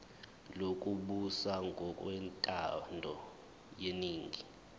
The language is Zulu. lokubusa ngokwentando yeningi